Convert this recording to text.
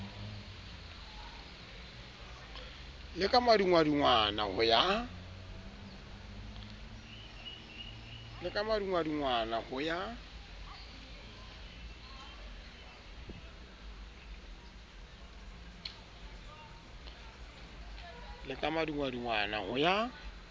le ka madungwadungwana ho ya